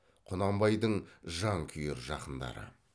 құнанбайдың жан күйер жақындары